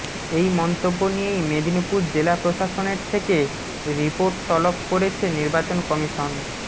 এই মন্তব্য নিয়েই মেদিনীপুর জেলা প্রশাসনের থেকে রিপোর্ট তলব করেছে নির্বাচন কমিশন